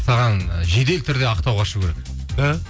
саған жедел түрде ақтауға ұшу керек ы